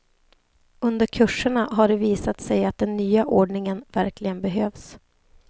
Under kurserna har det visat sig att den nya ordningen verkligen behövs.